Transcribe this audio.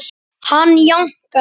Hann jánkar.